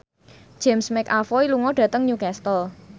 James McAvoy lunga dhateng Newcastle